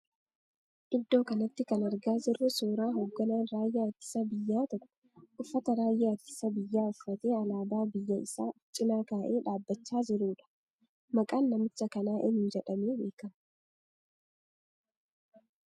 Iddoo kanatti kan argaa jirru suuraa hogganaan raayyaa ittisa biyyaa tokko uffata raayyaa ittisa biyyaa uffatee alaabaa biyya isaa of cina kaa'ee dubbachaa jiruudha. Maqaan namicha kanaa eenyu jedhamee beekama?